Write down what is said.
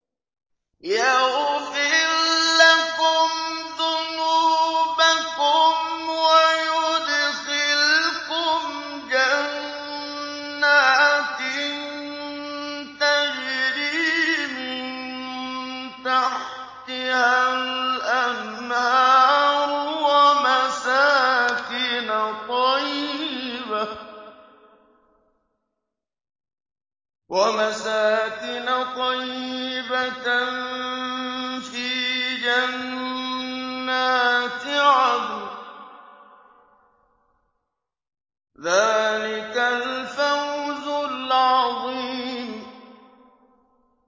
يَغْفِرْ لَكُمْ ذُنُوبَكُمْ وَيُدْخِلْكُمْ جَنَّاتٍ تَجْرِي مِن تَحْتِهَا الْأَنْهَارُ وَمَسَاكِنَ طَيِّبَةً فِي جَنَّاتِ عَدْنٍ ۚ ذَٰلِكَ الْفَوْزُ الْعَظِيمُ